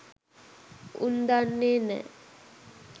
උන් දන්නේ නෑ